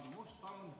Aadu Must, palun!